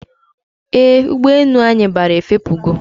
Eeh, ụgbọ enu anyi bara efepugo